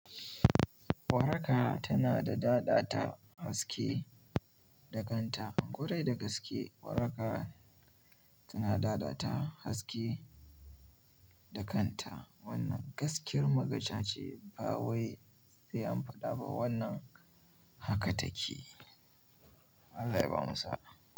Waraka tana da dadata haske da kanta, korai da gaske waraka tana dadata haske da kanta. Wannan gaskiyar magaca ce, ba wai sai an faɗa ba wannan haka take. Allah ya ba mu sa'a.